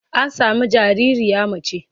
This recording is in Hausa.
An sami jaririya mace.